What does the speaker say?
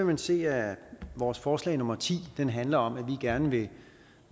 man se at vores forslag nummer ti handler om at vi gerne vil